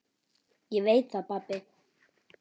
Ég veit það pabbi.